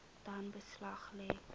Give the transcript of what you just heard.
dan beslag lê